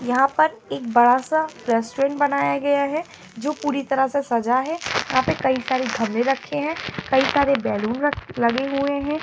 यहां पर एक बड़ा-सा रेस्टुरेंट बनाया गया है जो पूरी तरह से सजा है यहां पे कई सारे रखे हैं कई सारे बैलून लगे हुए हैं।